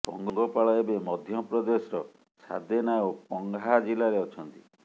ପଙ୍ଗପାଳ ଏବେ ମଧ୍ୟପ୍ରଦେଶର ସାଦେନା ଓ ପଂହା ଜିଲ୍ଲାରେ ଅଛନ୍ତି